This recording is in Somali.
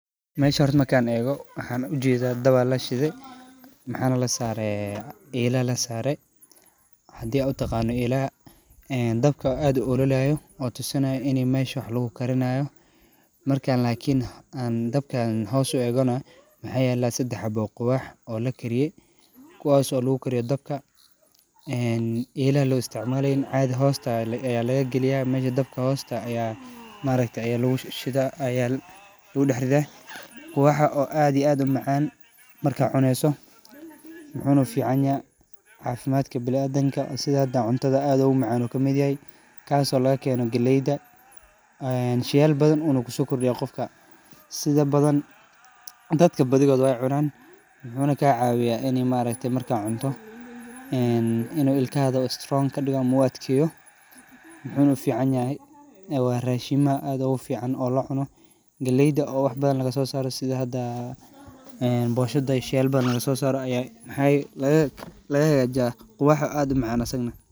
Meshas markan ego daba lashide elana la sare, hadi aad u taqana elaha dabka aad u olalaya oo tusinaya ini mesha wax lagu karinayo. Markan lakin dabkan hos u egana waxa yala sedex habo oo sawul oo lakariye kuwaso oo lagu kariye dabka ela lo isticmala oo hosta laga galiya, dabka hosta ayaa maaragye lagu ridaa , sawulka oo aad u macan waxana u ficanyahay cafimadka biniadamka, cuntadana aad bu ugu macan yahay wuxuna ka mid yahay kaso laga kena galleyda . Sheyaal badan ayuna kuso kordiya dadka sidha badan dadka badhidoda wey cunan wuxuna ka cawiya ini maaragte markad cunto inu ilkahaga strong u kadigo ama u adkeyo muxuna fican yahay oo wa rashimaha aad u gu fican oo la cuno , galleyda oo wax badan laga so saro sidha hada boshada oo sheyal badan laga so saro aya maxey laga hagajiyaa sawulka aad u macan asagna.